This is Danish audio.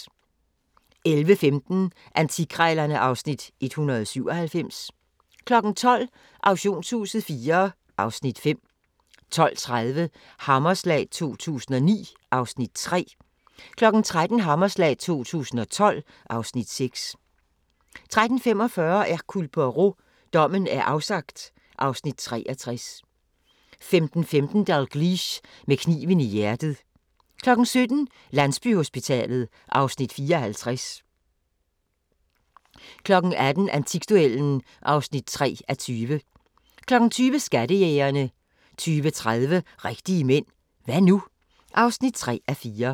11:15: Antikkrejlerne (Afs. 197) 12:00: Auktionshuset IV (Afs. 5) 12:30: Hammerslag 2009 (Afs. 3) 13:00: Hammerslag 2012 (Afs. 6) 13:45: Hercule Poirot: Dommen er afsagt (Afs. 63) 15:15: Dalgliesh: Med kniven i hjertet 17:00: Landsbyhospitalet (Afs. 54) 18:00: Antikduellen (3:20) 20:00: Skattejægerne 20:30: Rigtige mænd – hva' nu? (3:4)